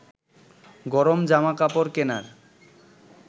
গরম জামা কাপড় কেনার